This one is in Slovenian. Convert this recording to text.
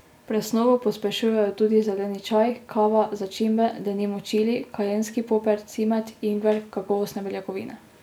Presnovo pospešujejo tudi zeleni čaj, kava, začimbe, denimo čili, kajenski poper, cimet, ingver, kakovostne beljakovine.